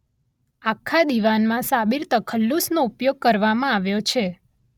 આખા દીવાનમાં સાબિર તખલ્લુસનો ઉપયોગ કરવામાં આવ્યો છે.